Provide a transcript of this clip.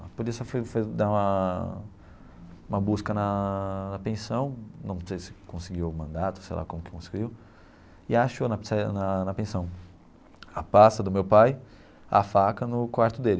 A polícia foi foi dar uma uma busca na pensão, não sei se conseguiu o mandato, sei lá como que conseguiu, e achou na pizzaria, na na pensão, a pasta do meu pai, a faca no quarto dele.